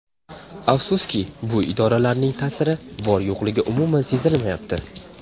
Afsuski, bu idoralarning ta’siri, bor-yo‘qligi umuman sezilmayapti.